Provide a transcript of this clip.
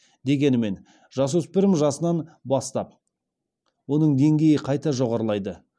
дегенмен жасөспірім жасынан бастап оның деңгейі қайта жоғарылайды